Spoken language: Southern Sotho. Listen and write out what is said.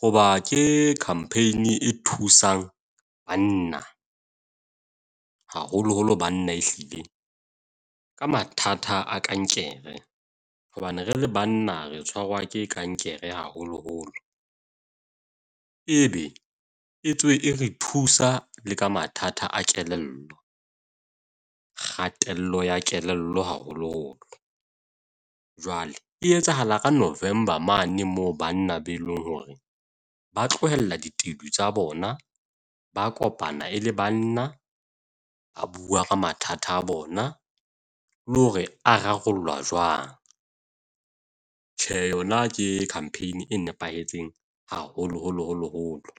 Hoba ke campaign e thusang banna, haholoholo banna, ehlile ka mathata a kankere hobane re le banna re tshwarwa ke kankere haholoholo. Ebe e tswe e re thusa le ka mathata a kelello. Kgatello ya kelello haholoholo. Jwale e etsahala ka November mane moo banna be leng hore ba tlohella ditedu tsa bona, ba kopana e le banna. Ba bua ka mathata a bona, le hore a rarollwa jwang. Tjhe yona ke campaign e nepahetseng haholoholo holo holo.